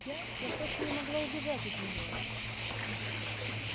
я я просто не могла убежать от нее